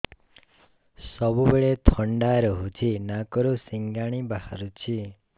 ସବୁବେଳେ ଥଣ୍ଡା ରହୁଛି ନାକରୁ ସିଙ୍ଗାଣି ବାହାରୁଚି